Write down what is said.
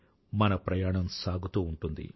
మన ప్రయాణం సాగుతూ ఉంటుంది